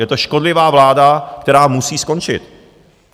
Je to škodlivá vláda, která musí skončit.